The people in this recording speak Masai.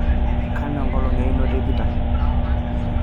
kanu enkolong einoto e Peter